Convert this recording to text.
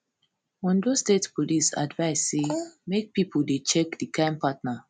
ondo state police advise say make pipo dey check di kain partner